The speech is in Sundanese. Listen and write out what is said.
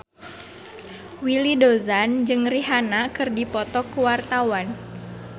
Willy Dozan jeung Rihanna keur dipoto ku wartawan